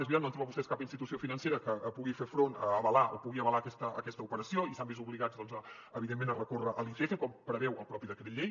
és veritat no han trobat vostès cap institució financera que pugui fer front a avalar o pugui avalar aquesta operació i s’han vist obligats doncs evidentment a recórrer a l’icf com preveu el propi decret llei